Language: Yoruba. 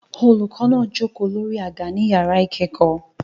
Olùkọ́ náà jókòó lórí àga ní yàrá ìkẹ́kọ̀ọ́